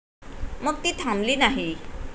मग ती थांबली नाही.